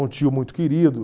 Um tio muito querido.